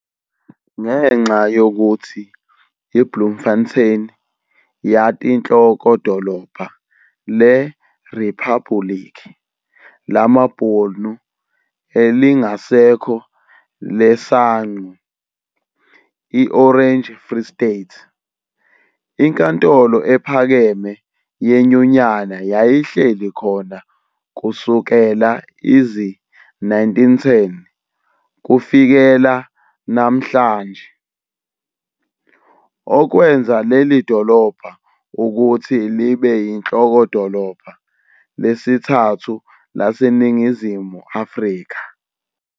Ngenxa yokuthi i-Bloemfontein yatinhlokodolobha le-Riphabuliki lamaBhunu elingasekho leSangqu, i-"Orange Free State", iNkantolo EPhakeme yeNyunyana yayihleli khona kusekela izi-1910 kufikela namhlanja, okwenza lelidolobha ukuthi libeyinhlokodolobha lesithathu laseNingizimu Afrika.